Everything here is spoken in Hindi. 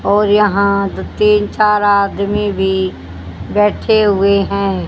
और यहाँ दो तीन चार आदमी भी बैठे हुए है।